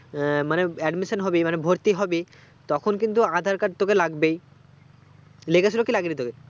মানে admission হবি মানে ভর্তি হবি তখন কিন্তু আধার কার্ড তোকে লাগবেই লেগেছিলো কি লাগেনি তোকে